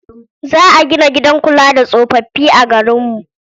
Za a gina gidan kula da tsofaffi a garinmu.